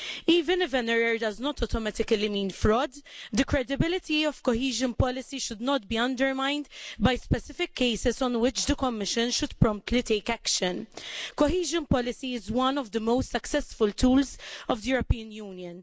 Even if an error does not automatically mean fraud, the credibility of cohesion policy should not be undermined by specific cases on which the Commission should promptly take action. Cohesion policy is one of the most successful tools of the European Union.